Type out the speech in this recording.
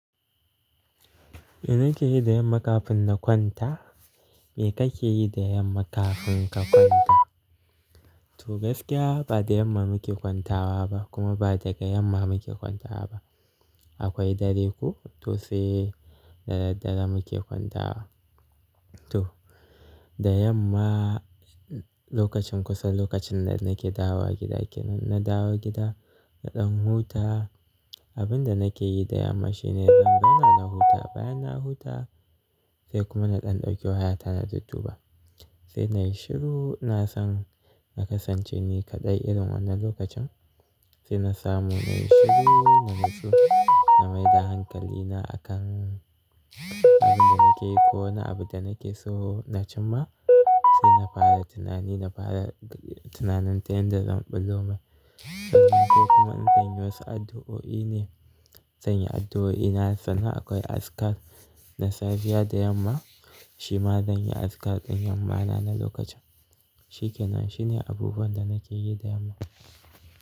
Mai nake yi da yamma kafin na kwanta? Me kake yi da yamma kafin ka kwanta? To gaskiya ba da yamma muke kwantawa ba kuma ba daga yamma muke kwantawa ba. Akwai dare ku to sai da dare muke kwantawa. To, da yamma lokacin kusa lokacin da nake dawowa gida kenan, inna dawo gida, na ɗan huta. Abin da nake yi da yamma shine idan na huta bayan na huta sai kuma na ɗan ɗauki waya ta na dudduba. Sai na yi shiru, na san na kasance ni kaɗai irin wannan lokacin. Sai na samu na yi shiru, na natsu, na maida hankalina a kan abin da nake ko na abin da nake so na cimma. Sai na fara tunani, na fara tunanin ta yadda zan ɓullo mai. Sai kuma in sanya wasu addu'o'i ne, sanya addu'o'i. Sannan akwai askar na safiya da yamma, shi ma zan yi askar ɗin yamma na na lokacin. Shi kenan, shi ne abubuwan da nake yi da yamma.